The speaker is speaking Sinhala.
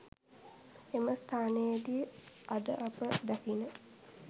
එම ස්ථානයේදි අද අප දකින